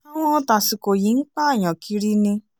àwọn tásìkò yìí ń pààyàn kiri ni